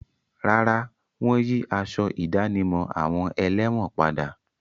Rárá, wọ́n yí aṣọ ìdánimọ̀ àwọn ẹlẹ́wọ̀n padà.